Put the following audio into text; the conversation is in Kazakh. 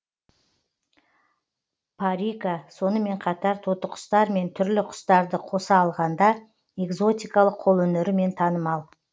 парика сонымен қатар тотықұстар мен түрлі құстарды қоса алғанда экзотикалық қолөнерімен танымал